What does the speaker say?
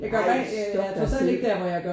Ej stop dig selv